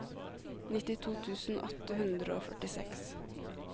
nittito tusen åtte hundre og førtiseks